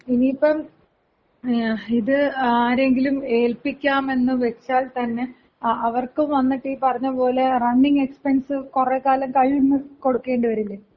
ഇനിയിപ്പം ഇത് ആരെയെങ്കിലും ഏൽപ്പിക്കാം എന്ന് വെച്ചാൽ തന്നെ അവർക്കും വന്നിട്ട് ഈ പറഞ്ഞ പോലെ റണ്ണിങ് എക്സ്പെൻസ് കൊറെ കാലം കയ്യിന്ന് കൊടുക്കേണ്ടി വരില്ലേ?